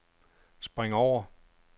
spring over